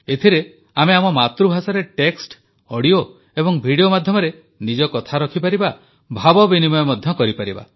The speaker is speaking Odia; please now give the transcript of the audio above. ଏଥିରେ ଆମେ ଆମ ମାତୃଭାଷାରେ ଟେକ୍ସ୍ଟ ଅଡିଓ ଏବଂ ଭିଡିଓ ମାଧ୍ୟମରେ ନିଜ କଥା ରଖିପାରିବା ଭାବ ବିନିମୟ ମଧ୍ୟ କରିପାରିବା